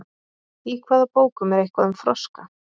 í hvaða bókum er eitthvað um froska